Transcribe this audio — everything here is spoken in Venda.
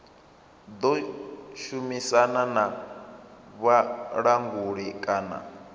ḓo shumisana na vhulanguli kana